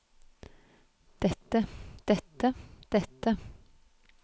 dette dette dette